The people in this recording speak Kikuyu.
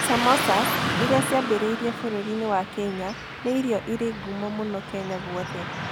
Samosas, iria ciambĩrĩirie bũrũri-inĩ wa India, nĩ irio irĩ ngumo mũno Kenya guothe.